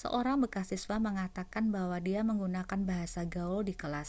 seorang bekas siswa mengatakan bahwa dia 'menggunakan bahasa gaul di kelas